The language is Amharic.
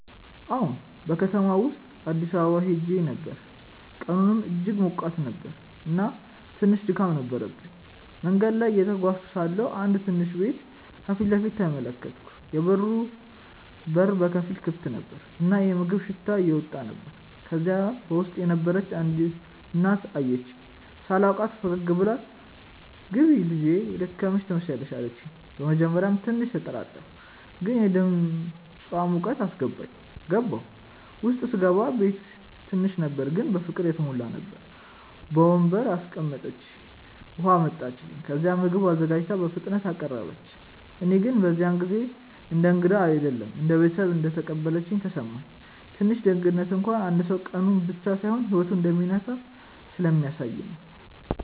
አዎን፣ በከተማው ውስጥ አዲስ አካባቢ ሄዼ ነበር፣ ቀኑም እጅግ ሞቃት ነበር እና ትንሽ ድካም ነበረብኝ። መንገድ ላይ እየተጓዝኩ ሳለሁ አንድ ትንሽ ቤት ከፊት ተመለከትኩ፤ የበሩ በር በከፊል ክፍት ነበር እና የምግብ ሽታ እየወጣ ነበር። ከዚያ በውስጥ የነበረች አንዲት እናት አየችኝ። ሳላውቃትም ፈገግ ብላ “ግቢ ልጄ፣ የደከመሽ ትመስያለሽ” አለችኝ። በመጀመሪያ ትንሽ ተጠራጠርኩ፣ ግን የድምፃ ሙቀት አስገባኝ። ገባሁ። ውስጥ ሲገባ ቤቱ ትንሽ ነበር ግን በፍቅር የተሞላ ነበር። በወንበር አስቀምጠችኝ፣ ውሃ አመጣች፣ ከዚያም ምግብ አዘጋጅታ በፍጥነት አቀረበች። እኔ ግን በዚያ ጊዜ እንደ እንግዳ አይደለም እንደ ቤተሰብ እንደተቀበለችኝ ተሰማኝ። ትንሽ ደግነት እንኳን አንድ ሰው ቀኑን ብቻ ሳይሆን ህይወቱን እንደሚነካ ስለሚያሳየ ነው